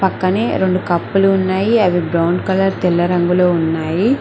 కానీ రెండు కప్పులు ఉన్నాయి అవి బ్రౌన్ కలర్ తెల్ల రంగులో ఉన్నాయి.